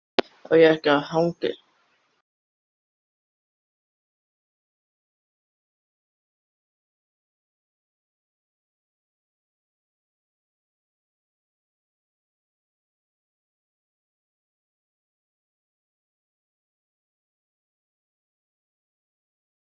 Þessi kvæði voru sum þokkalega ort, en reyndar ekki merkileg.